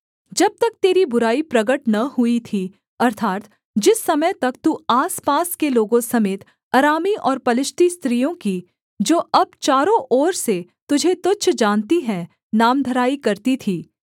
जब तक तेरी बुराई प्रगट न हुई थी अर्थात् जिस समय तक तू आसपास के लोगों समेत अरामी और पलिश्ती स्त्रियों की जो अब चारों ओर से तुझे तुच्छ जानती हैं नामधराई करती थी